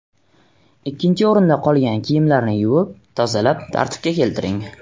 Ikkinchi o‘rinda, qolgan kiyimlarni yuvib, tozalab, tartibga keltiring.